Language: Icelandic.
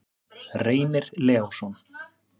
Reynir Leósson.